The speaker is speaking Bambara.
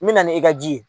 N mɛna e ka ji ye